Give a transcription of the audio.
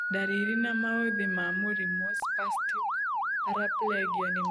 Ndariri na maũthĩ ma mũrimũ Spastic paraplegia nĩ marikũ?